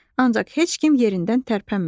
Ancaq heç kim yerindən tərpənmədi.